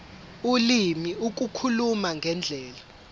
ulimi ukukhuluma ngendlela